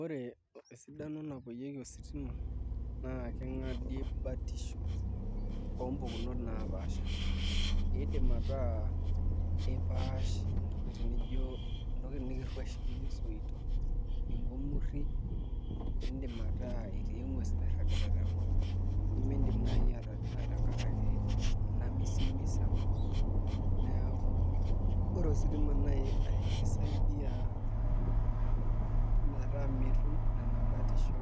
Ore esidani napiyieki ositima nakingadie mbatisho ompukunot napaasha idim ataa ipaash ntokitin nikiruesh nijobsoitok ngumuru, indim ataa etii engues nairagita tenkop nimindim atadua tenkaraki emisisimis enkopneaku ore oositima na ekisaidia metaa mitum nona batisho